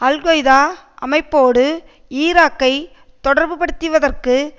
al Qaeda அமைப்போடு ஈராக்கை தொடர்புபடுத்திவதற்கு